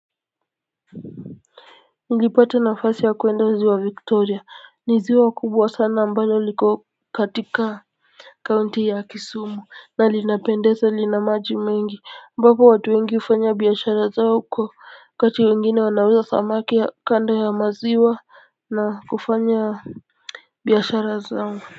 Nilipata nafasi ya kurnda ziwa victoria ni ziwa kubwa sana ambalo liko katika kaunti ya kisumu na linapendeza lina maji mengi ambapo watu wengi hufanya biashara zao huko wakati wengine wanauza samaki ya kando ya maziwa na kufanya biashara zao.